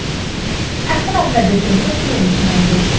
এখানে আপনাদের জন্য একটি অনুশীলনী রয়েছে